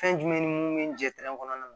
Fɛn jumɛn ni mun bɛ jɛ kɔnɔna na